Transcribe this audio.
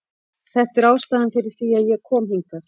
Þetta er ástæðan fyrir því að ég kom hingað.